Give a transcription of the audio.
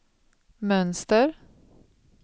mönster